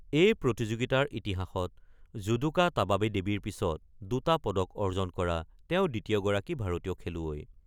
এই প্ৰতিযোগিতাৰ ইতিহাসত যুদোকা তাবাবি দেৱীৰ পিছত দুটা পদক অৰ্জন কৰা তেওঁ দ্বিতীয়গৰাকী ভাৰতীয় খেলুৱৈ।